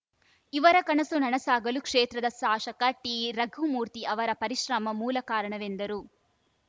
ಇವರ ಕನಸು ನನಸಾಗಲು ಕ್ಷೇತ್ರದ ಶಾಸಕ ಟಿ ರಘುಮೂರ್ತಿ ಅವರ ಪರಿಶ್ರಮ ಮೂಲ ಕಾರಣವೆಂದರು